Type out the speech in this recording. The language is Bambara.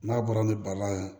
N'a bɔra ni bala ye